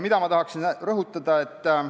Mida ma tahan rõhutada?